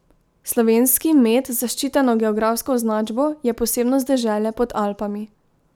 Slovenski med z zaščiteno geografsko označbo je posebnost dežele pod Alpami.